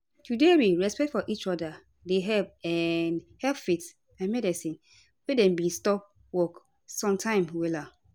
to dey real respect for each oda dey um help faith and medicine wey dem bin stop work same time wella